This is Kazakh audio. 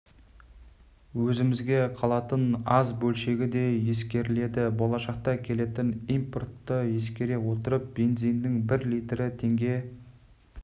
өзімізге қалатын аз бөлшегі де ескеріледі болашақта келетін импортты ескере отырып бензинінің бір литрі теңге